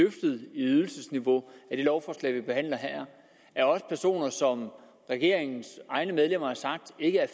ydelsesniveau i det lovforslag vi behandler her er også personer som regeringens egne medlemmer har sagt ikke er